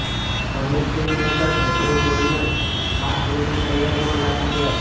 Tamil film maker Prabhu Solomon આ ફિલ્મની તૈયારીઓમાં લાગી ગયા છે